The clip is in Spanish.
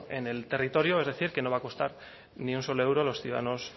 en el territorio es decir que no va a costar ni un solo euro a los ciudadanos